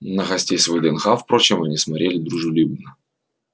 на гостей с вднх впрочем они смотрели дружелюбно